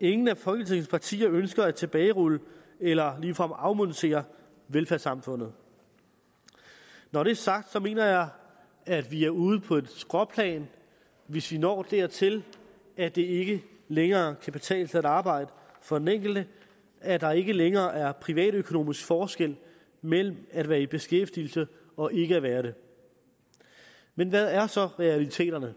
ingen af folketingets partier ønsker at tilbagerulle eller ligefrem afmontere velfærdssamfundet når det er sagt mener jeg at vi er ude på et skråplan hvis vi når dertil at det ikke længere kan betale sig at arbejde for den enkelte at der ikke længere er privatøkonomisk forskel mellem at være i beskæftigelse og ikke at være det men hvad er så realiteterne